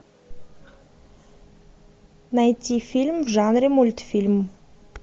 найти фильм в жанре мультфильм